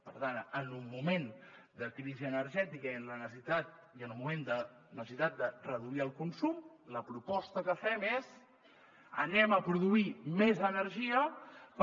per tant en un moment de crisi energètica i en un moment de necessitat de reduir el consum la proposta que fem és produirem més energia per